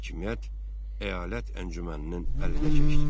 Hakimiyyət əyalət əncüməninin əlinə keçdi.